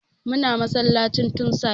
Muna masallacin tun safe